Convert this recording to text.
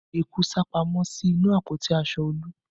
Eku sá pamọ́ sí inú àpótí aṣọ Olu